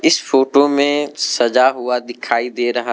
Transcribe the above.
इस फोटो में सजा हुआ दिखाई दे रहा --